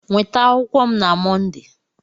Nweta akwụkwọ m na Mọnde!